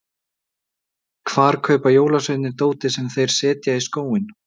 Hvar kaupa jólasveinarnir dótið sem þeir setja í skóinn?